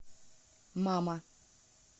мама